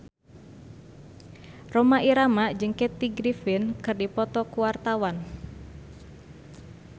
Rhoma Irama jeung Kathy Griffin keur dipoto ku wartawan